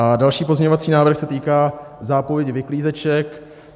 A další pozměňovací návrh se týká zápovědi vyklízeček.